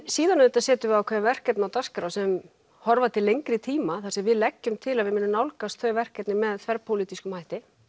síðan auðvitað setjum við ákveðin verkefni á dagskrá sem horfa til lengri tíma þar sem við leggjum til að við munum nálgast þau verkefni með þverpólitískum hætti